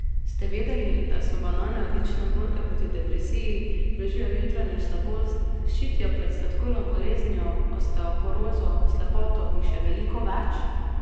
Ste vedeli, da so banane odlične borke proti depresiji, blažijo jutranjo slabost, ščitijo pred sladkorno boleznijo, osteoporozo, slepoto in še veliko več?